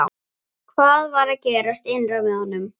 Hvað var að gerast innra með honum?